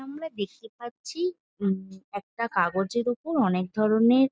আমার দেখতে পাচ্ছি উমম একটা কাগজের ওপর অনেক ধরণের--